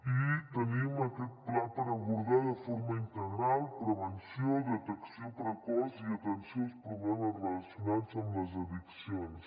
i tenim aquest pla per abordar de forma integral prevenció detecció precoç i atenció als problemes relacionats amb les addiccions